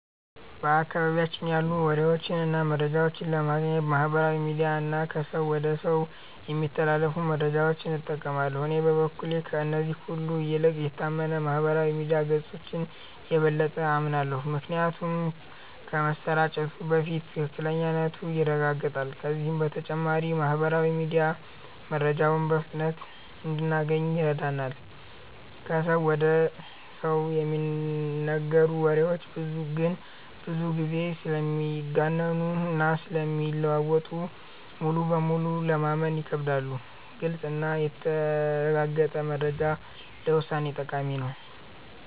በአካባቢያችን ያሉ ወሬዎችን እና መረጃዎችን ለማግኘት ማህበራዊ ሚዲያ እና ከሰው ወደ ሰው የሚተላለፉ መረጃዎችን እንጠቀማለን። እኔ በበኩሌ ከእነዚህ ሁሉ ይልቅ የታመኑ የማህበራዊ ሚዲያ ገጾችን የበለጠ አምናለሁ። ምክንያቱም ከመሰራጨቱ በፊት ትክክለኛነቱ ይረጋገጣል፤ ከዚህ በተጨማሪም ማህበራዊ ሚዲያ መረጃውን በፍጥነት እንድናገኝ ይረዳናል። ከሰው ወደ ሰው የሚነገሩ ወሬዎች ግን ብዙ ጊዜ ስለሚጋነኑ እና ስለሚለዋወጡ ሙሉ በሙሉ ለማመን ይከብዳሉ። ግልጽ እና የተረጋገጠ መረጃ ለውሳኔ ጠቃሚ ነው።